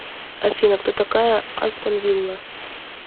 афина кто такая астон вилла